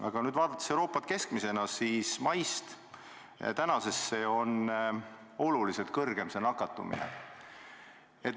Aga vaadates Euroopa keskmist, siis maist tänaseni on nakatumine oluliselt kasvanud.